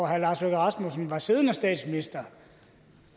herre lars løkke rasmussen var siddende statsminister